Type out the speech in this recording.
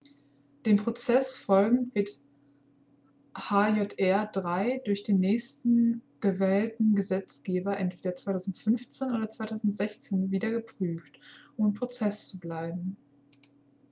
dem prozess folgend wird hjr-3 durch den nächsten gewählten gesetzgeber entweder 2015 oder 2016 wieder geprüft um im prozess zu bleiben